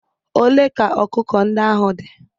Ole ka ọkụkọ ndị ahụ dị?